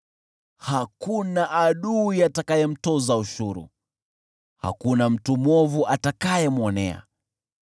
Hakuna adui atakayemtoza ushuru, hakuna mtu mwovu atakayemwonea.